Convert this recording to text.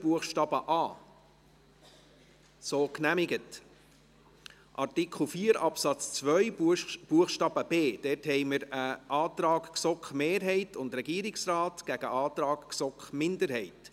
Buchstabe b haben wir einen Antrag GSoK-Mehrheit und Regierungsrat gegen einen Antrag GSoK-Minderheit.